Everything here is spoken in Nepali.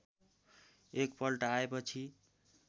एक पल्ट आएपछि